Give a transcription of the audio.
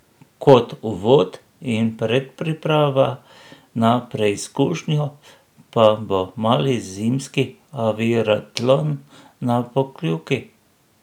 Kot uvod in predpriprava na preizkušnjo pa bo mali zimski oviratlon na Pokljuki.